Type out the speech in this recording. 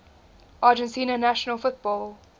argentina national football